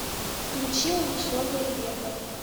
включи унесенные ветром